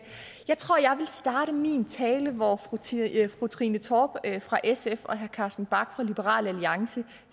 jeg tror jeg vil starte min tale hvor fru trine torp fra sf og herre carsten bach fra liberal alliance